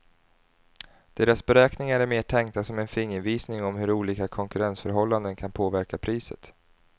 Deras beräkningar är mer tänkta som en fingervisning om hur olika konkurrensförhållanden kan påverka priset.